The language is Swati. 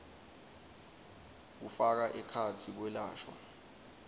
kufaka ekhatsi kwelashwa